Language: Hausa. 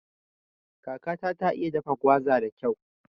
Kakata ta iya dafa gwaza da kyau